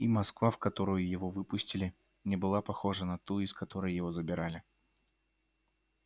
и москва в которую его выпустили не была похожа на ту из которой его забирали